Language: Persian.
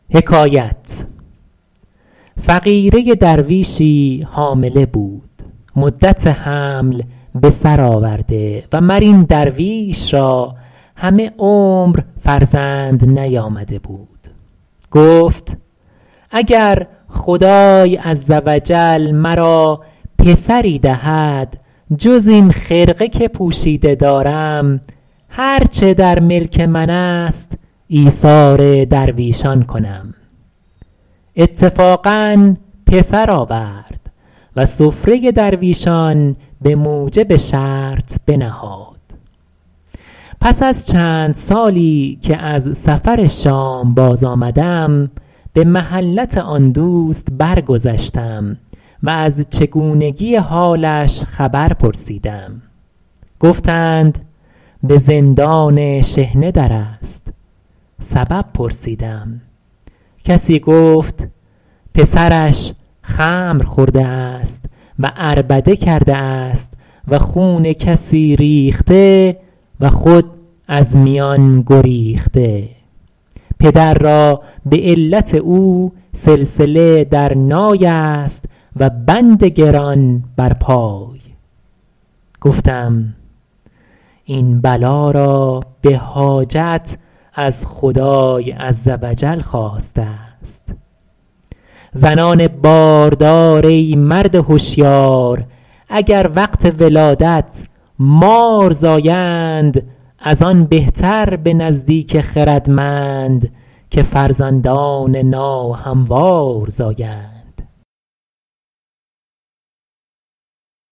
فقیره درویشی حامله بود مدت حمل بسر آورده و مر این درویش را همه عمر فرزند نیامده بود گفت اگر خدای عز و جل مرا پسری دهد جز این خرقه که پوشیده دارم هر چه در ملک من است ایثار درویشان کنم اتفاقا پسر آورد و سفره درویشان به موجب شرط بنهاد پس از چند سالی که از سفر شام باز آمدم به محلت آن دوست برگذشتم و از چگونگی حالش خبر پرسیدم گفتند به زندان شحنه در است سبب پرسیدم کسی گفت پسرش خمر خورده است و عربده کرده است و خون کسی ریخته و خود از میان گریخته پدر را به علت او سلسله در نای است و بند گران بر پای گفتم این بلا را به حاجت از خدای عز و جل خواسته است زنان باردار ای مرد هشیار اگر وقت ولادت مار زایند از آن بهتر به نزدیک خردمند که فرزندان ناهموار زایند